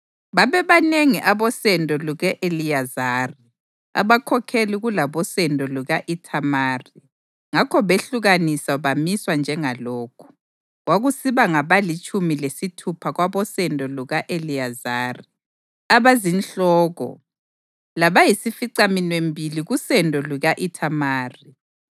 Babebanengi abosendo luka-Eliyazari abakhokheli kulabosendo luka-Ithamari ngakho behlukaniswa bamiswa njengalokhu: kwakusiba ngabalitshumi lesithupha kwabosendo luka-Eliyazari abazinhloko labayisificaminwembili kusendo luka-Ithamari.